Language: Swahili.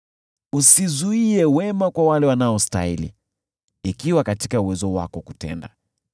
Usizuie wema kwa wale wanaostahili ikiwa katika uwezo wako kutenda.